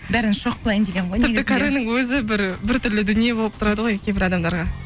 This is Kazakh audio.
бәрін шок қылайн дегенім ғой каренің өзі бір бір түрлі дүние болып тұрады ғой кейбір адамдарға